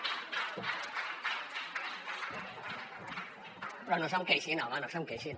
però no se’m queixin home no se’m queixin